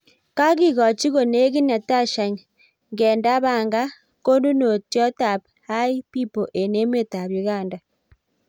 Kagegochi konegit Natasha Ngendabanka konnunotyot ap hi pipo eng emet ap Uganda.